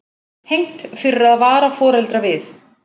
Hegnt fyrir að vara foreldra við